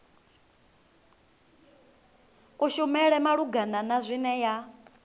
kushumele malugana na zwine ya